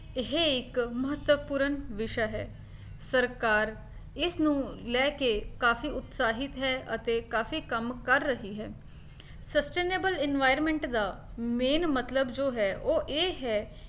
ਇਹ ਇੱਕ ਮਹੱਤਵਪੂਰਨ ਵਿਸ਼ਾ ਹੈ, ਸਰਕਾਰ ਇਸਨੂੰ ਲੈਕੇ ਕਾਫੀ ਉਤਸ਼ਾਹਿਤ ਹੈ ਅਤੇ ਕਾਫੀ ਕੰਮ ਕਰ ਰਹੀ ਹੈ sustainable environment ਦਾ main ਮਤਲਬ ਜੋ ਹੈ ਉਹ ਇਹ ਹੈ